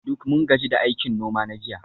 Duk mun gaji da aikin noma na jiya